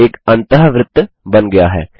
एक अन्तःवृत्त बन गया है